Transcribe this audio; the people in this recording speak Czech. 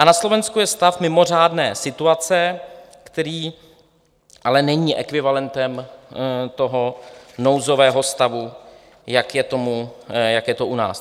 A na Slovensku je stav mimořádné situace, který ale není ekvivalentem toho nouzového stavu, jak je to u nás.